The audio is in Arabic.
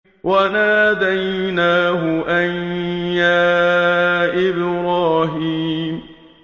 وَنَادَيْنَاهُ أَن يَا إِبْرَاهِيمُ